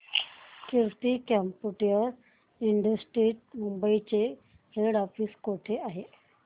कीर्ती computer institute Mumbai चे head office कुठे आहे